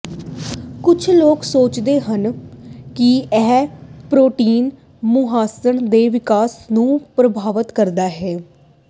ਕੁਝ ਲੋਕ ਸੋਚਦੇ ਹਨ ਕਿ ਇਹ ਪ੍ਰੋਟੀਨ ਮੁਹਾਂਸਣ ਦੇ ਵਿਕਾਸ ਨੂੰ ਪ੍ਰਭਾਵਤ ਕਰਦੇ ਹਨ